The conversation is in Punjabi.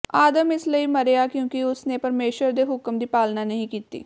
ਆਦਮ ਇਸ ਲਈ ਮਰਿਆ ਕਿਉਂਕਿ ਉਸ ਨੇ ਪਰਮੇਸ਼ੁਰ ਦੇ ਹੁਕਮ ਦੀ ਪਾਲਨਾ ਨਹੀਂ ਕੀਤੀ